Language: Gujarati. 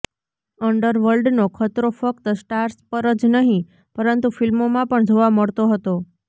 અન્ડરવર્લ્ડનો ખતરો ફક્ત સ્ટાર્સ પર જ નહીં પરંતુ ફિલ્મોમાં પણ જોવા મળતો હતો